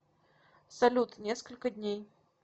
салют несколько дней